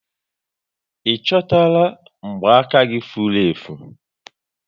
Ị chọtara mgba aka gị furu efu?